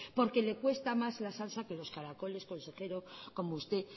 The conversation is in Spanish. porque le cuesta más la salsa que los caracoles como usted